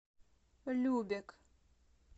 любек